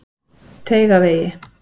Teigavegi